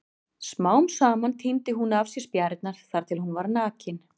Smám saman tíndi hún af sér spjarirnar þar til hún var nakin.